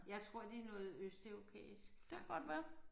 Jeg tror de noget østeuropæisk faktisk